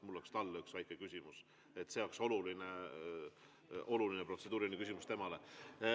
Mul on talle üks väike küsimus, see on oluline protseduuriline küsimus temale.